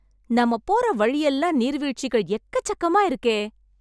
நம்ம போற வழியெல்லாம், நீர்வீழ்ச்சிகள் எக்கச்சக்கமா இருக்கே...